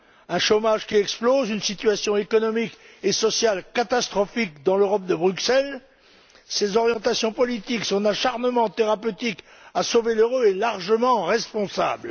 Un chômage qui explose, une situation économique et sociale catastrophique dans l'Europe de Bruxelles, dont les orientations politiques, l'acharnement thérapeutique à sauver l'euro sont largement responsables.